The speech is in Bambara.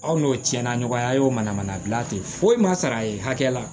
Aw n'o tiɲɛna ɲɔgɔnya a y'o manamana gilan tɛ foyi ma sara ye hakɛ la